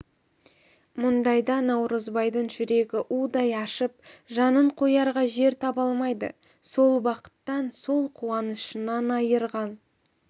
мұндайда наурызбайдың жүрегі удай ашып жанын қоярға жер таба алмайды сол бақыттан сол қуанышынан айырған